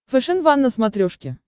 фэшен ван на смотрешке